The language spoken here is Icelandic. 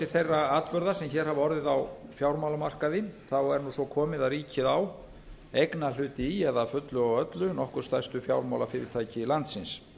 þeirra atburða sem hér hafa orðið á fjármálamarkaði er nú svo komið að ríkið á eignarhluti í eða að fullu og öllu nokkur stærstu fjármálafyrirtæki landsins